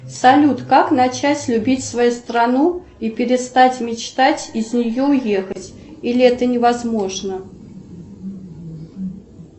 салют как начать любить свою страну и перестать мечтать из нее уехать или это невозможно